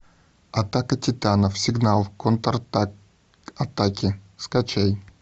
атака титанов сигнал контратаки скачай